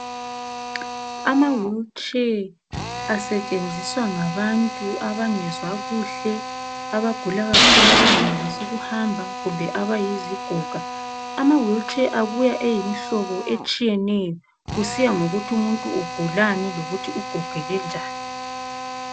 Amawheelchair asetshenziswa ngabantu abangezwa kuhle abagula kakhulu abangenelisi ukuhamba kumbe abayizigoga. Amawheelchair abuya eyimhlobo etshiyeneyo kusiya ngokuthi umuntu ugulani lokuthi ugogeke njani.